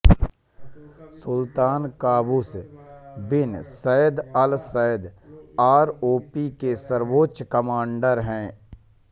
सुल्तान Qaboos bin Said al Said ROP के सर्वोच्च commander हैं